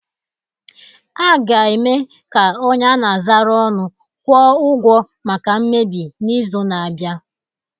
A ga-eme ka onye a na-azara ọnụ kwụọ ụgwọ maka mmebi n'izu na-abịa